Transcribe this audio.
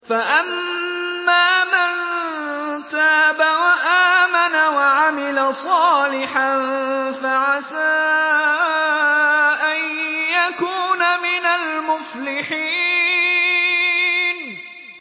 فَأَمَّا مَن تَابَ وَآمَنَ وَعَمِلَ صَالِحًا فَعَسَىٰ أَن يَكُونَ مِنَ الْمُفْلِحِينَ